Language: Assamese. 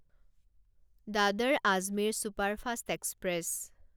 Dadar Ajmer superfast express